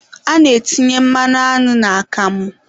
A na-etinye mmanụ aṅụ n'akamụ